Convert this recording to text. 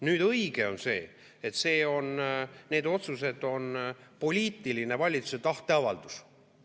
Nüüd, õige on see, et need otsused on valitsuse poliitiline tahteavaldus.